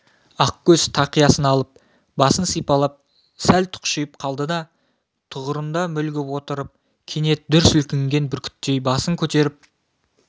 ақкөз тақиясын алып басын сипалап сәл тұқшиып қалды да тұғырында мүлгіп отырып кенет дүр сілкінген бүркіттей басын көтеріп